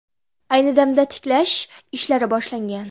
Ayni damda tiklash ishlari boshlangan.